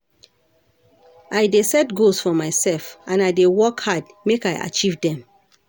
I dey set goals for myself, and I dey work hard make I achieve dem.